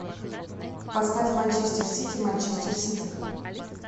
поставь манчестер сити манчестер сити